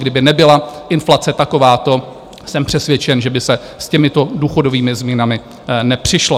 Kdyby nebyla inflace takováto, jsem přesvědčen, že by se s těmito důchodovými změnami nepřišlo.